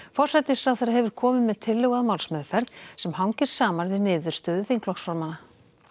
forsætisráðherra hefur komið með tillögu að málsmeðferð sem hangir saman við niðurstöðu þingflokksformanna